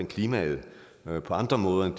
klimaet på andre måder end